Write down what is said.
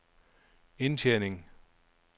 indtjening